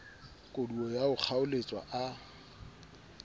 koduwa ya ho kgaoletswa a